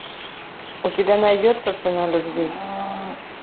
у тебя найдется цена любви